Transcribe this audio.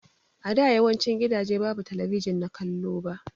A da yawancin gidaje babu talabijin na kallo ba.